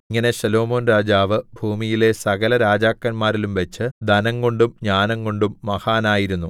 ഇങ്ങനെ ശലോമോൻ രാജാവ് ഭൂമിയിലെ സകലരാജാക്കന്മാരിലും വെച്ച് ധനംകൊണ്ടും ജ്ഞാനംകൊണ്ടും മഹാനായിരുന്നു